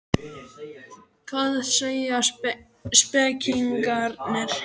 Hvað segja spekingarnir?